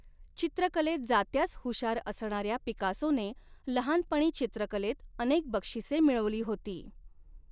चित्रकलेत जात्याच हुशार असणाऱ्या पिकासोने लहानपणी चित्रकलेत अनेक बक्षिसे मिळवली होती.